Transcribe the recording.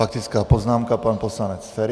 Faktická poznámka - pan poslanec Feri.